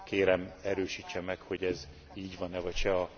Kérem, erősítse meg, hogy ez így van e vagy sem.